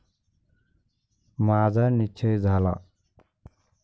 माझा निश्चय झाला.